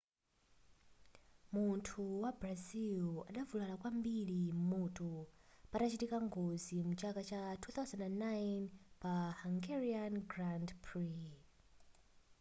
munthu wa brazil adavulala kwambiri m'mutu patachitika ngozi muchaka cha 2009 pa hungarian grand prix